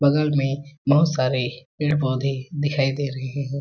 बगल में बहुत सारे पेड़-पौधे दिखाई दे रहे है।